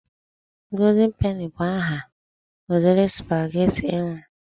Golden peni bụ aha ụdịrị spaghetti e nwere.